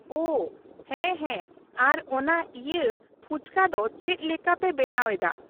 ᱳᱚ ᱦᱮᱸ ᱦᱮᱸ ᱟᱨ ᱚᱱᱟ ᱤᱭᱟᱹ ᱯᱷᱩᱪᱠᱟ ᱫᱚ ᱪᱮᱫ ᱞᱮᱠᱟ ᱯᱮ ᱵᱮᱱᱟᱣ ᱮᱫᱟ ?